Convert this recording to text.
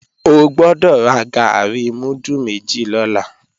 O gbọ́dọ̀ ra gàárì múdù méjì lọ́la